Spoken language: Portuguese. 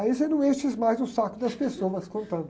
Aí você não enche mais o saco das pessoas contando.